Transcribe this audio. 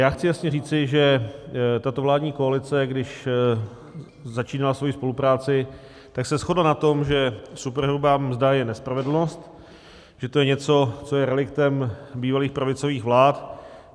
Já chci jasně říci, že tato vládní koalice, když začínala svoji spolupráci, tak se shodla na tom, že superhrubá mzda je nespravedlnost, že to je něco, co je reliktem bývalých pravicových vlád.